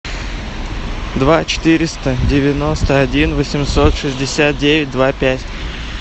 два четыреста девяносто один восемьсот шестьдесят девять два пять